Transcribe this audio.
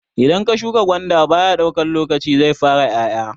Idan ka shuka gwanda baya daukan lokaci zai fara 'ya'ya.